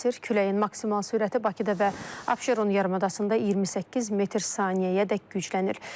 Küləyin maksimal sürəti Bakıda və Abşeron yarımadasında 28 metr/saniyəyedək güclənir.